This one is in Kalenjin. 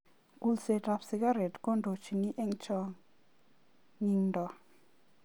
Kulset ab sikaret kondochin eng changindo.